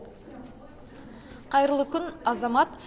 қайырлы күн азамат